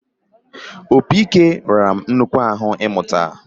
Opi-ike ghara m nnukwu ahụ mụta